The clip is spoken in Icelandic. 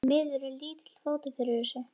Því miður er lítill fótur fyrir þessu.